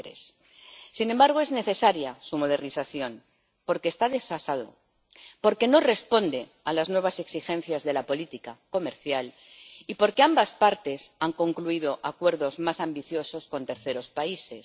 2003. Sin embargo, es necesaria su modernización porque está desfasado, porque no responde a las nuevas exigencias de la política comercial y porque ambas partes han concluido acuerdos más ambiciosos con terceros países.